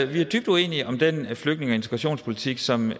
vi er dybt uenige om den flygtninge og integrationspolitik som